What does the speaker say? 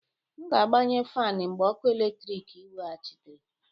M ga-agbanye fan mgbe ọkụ eletrik eweghachitere.